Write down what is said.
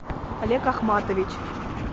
олег ахматович